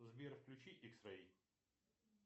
сбер включи икс рей